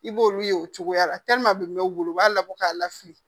I b'olu ye o cogoya la n bɛ wolo o b'a labɔ k'a lafili